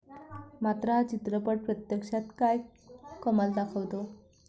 मात्र, हा चित्रपट प्रत्यक्षात काय कमाल दाखवतो?